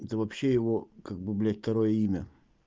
это вообще его как бы блядь второе имя